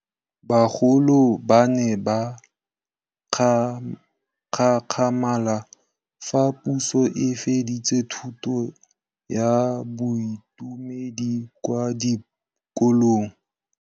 Bagolo ba ne ba gakgamala fa Pusô e fedisa thutô ya Bodumedi kwa dikolong.